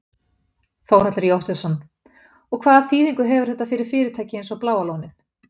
Þórhallur Jósefsson: Og hvaða þýðingu hefur þetta fyrir fyrirtæki eins og Bláa lónið?